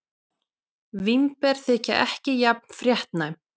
Vínber þykja ekki jafn fréttnæm.